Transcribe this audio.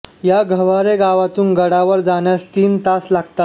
या गव्हारे गावातून गडावर जाण्यास तीन तास लागतात